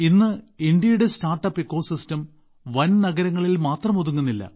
ഇന്ന് ഇന്ത്യയുടെ സ്റ്റാർട്ടപ്പ് ആവാസവ്യവസ്ഥ വൻനഗരങ്ങളിൽ മാത്രം ഒതുങ്ങുന്നില്ല